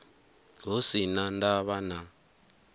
hu si na ndavha na